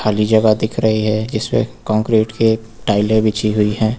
ये जगह दिख रही है जिसपे कोंक्रिट की टाइलें बिछी हुई हैं।